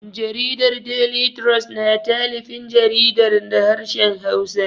Jaridar Daily Trust na talifin jaridar da harshen Hausa.